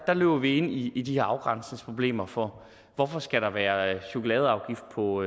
løber vi ind i i de her afgrænsningsproblemer for hvorfor skal der være chokoladeafgift på